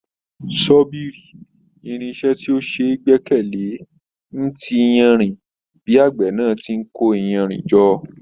Sọ́bìrì, irinṣẹ́ tí ó ṣeé gbẹ́kẹ̀ le, ń ti iyanrìn bí àgbẹ̀ náà tí n kó iyanrìn jọ.